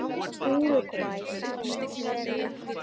Úrúgvæ sat hins vegar eftir.